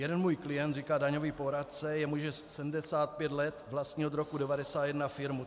Jeden můj klient, říká daňový poradce, jemuž je 75 let, vlastnil od roku 1991 firmu.